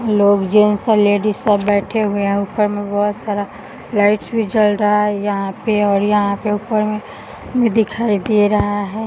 लोग जेंट्स और लेडीज सब बैठे हुए हैं और ऊपर में बहोत सारा लाइट्स भी जल रहा है यहाँ पे और यहाँ पे ऊपर में दिखाई दे रहा है।